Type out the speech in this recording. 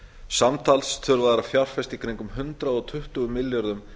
samtals þurfa þeir að fjárfesta í kringum hundrað tuttugu milljörðum